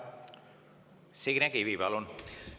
Signe Kivi, palun!